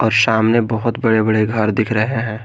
और सामने बहुत बड़े बड़े घर दिख रहे हैं।